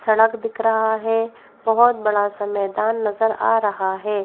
सड़क दिख रहा है बहुत बड़ा सा मैदान नजर आ रहा है।